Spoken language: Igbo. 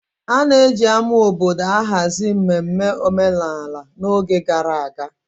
A na-eji ama obodo ahazi mmemme omenala n'oge gara aga.